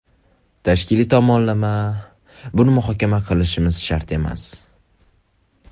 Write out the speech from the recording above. Tashkiliy tomonlama… Buni muhokama qilishimiz shart emas.